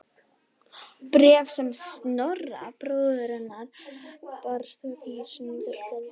Bréf sem Snorra bróður hennar barst vegna sýningarinnar gladdi